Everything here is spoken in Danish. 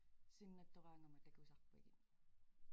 Sinnattoraangama takusarpagit